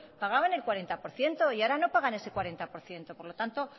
pagaban el cuarenta por ciento y ahora no pagan ese cuarenta por ciento por lo tanto